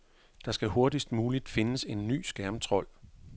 Der skal hurtigst muligt findes en ny skærmtrold.